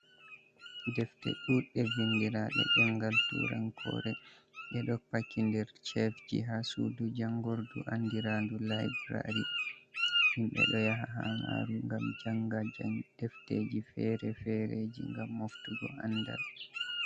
Defte ɗuɗɗe vindirade ɗemgal turankore, ɗe ɗo paki nder chefji, ha sudu jangordu andiraɗum laibrary, himbe ɗo yaha ha maru gam janga defteji fere-fereji gam moftugo sandal.